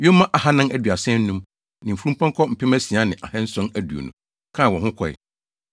yoma ahannan aduasa anum (435) ne mfurumpɔnkɔ mpem asia ne ahanson aduonu (6,720) kaa wɔn ho kɔe.